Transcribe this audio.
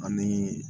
Anii